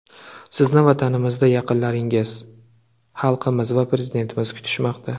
Sizni vatanimizda yaqinlaringiz, xalqimiz va Prezidentimiz kutishmoqda.